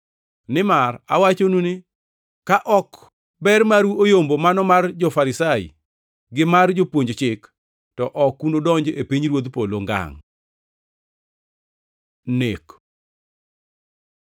Nimar awachonu ni ka ok ber maru oyombo mano mar jo-Farisai gi mar jopuonj chik to ok unudonji e pinyruodh polo ngangʼ. Nek